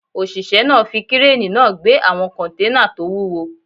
Òṣìṣẹ́ náà fi kírénì náà gbé àwọn kọ́nténà tó wúwo